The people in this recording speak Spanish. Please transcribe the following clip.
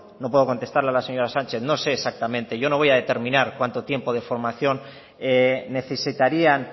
no puedo contestar a la señora sánchez no sé exactamente yo no voy a determinar cuánto tiempo de formación necesitarían